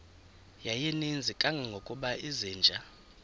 yayininzi kangangokuba izinja